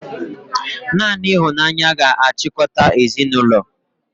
Naanị ịhụnanya ga-achịkọta ezinụlọ